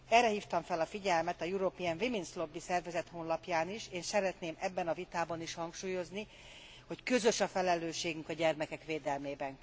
Erre hívtam fel a figyelmet az European Women's Lobby szervezet honlapján is, és szeretném ebben a vitában is hangsúlyozni, hogy közös a felelősségünk a gyermekek védelmében.